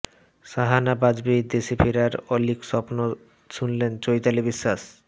সাহানা বাজপেয়ীর দেশে ফেরার অলীক স্বপ্ন শুনলেন চৈতালি বিশ্বাস